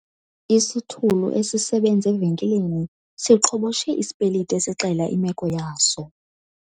Isithulu esisebenza evenkileni siqhoboshe isipeliti esixela imeko yaso.